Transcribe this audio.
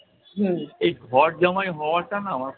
এই ঘরজামাই হওয়াটা না আমার